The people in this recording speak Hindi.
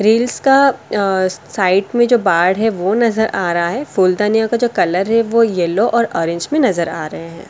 ग्रिल्स का साइड में जो बाड़ है वो नजर आ रहा है फूलधनिया का जो कलर है वो येलो और ऑरेंज में नजर आ रहे हैं।